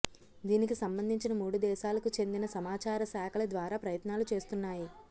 దీనికి సంబంధించిన మూడు దేశాలకు చెందిన సమాచార శాఖల ద్వారా ప్రయత్నాలు చేస్తున్నాయి